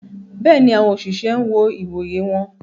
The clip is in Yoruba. Béèni, awọn oṣiṣẹ n wọ ìwòyè wọn